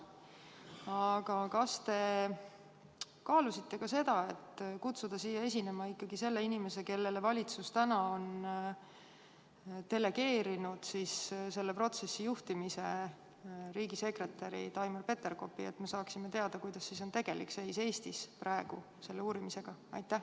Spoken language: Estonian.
Aga kas te kaalusite ka seda, et kutsuda siia esinema inimene, kellele valitsus on delegeerinud selle protsessi juhtimise, riigisekretär Taimar Peterkopi, et me saaksime teada, kuidas on praegu tegelik seis Eestis selle uurimisega?